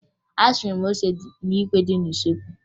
Asụrụ m ose n'ikwe dị n'usoekwu